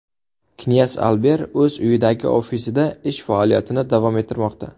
Knyaz Alber o‘z uyidagi ofisida ish faoliyatini davom ettirmoqda.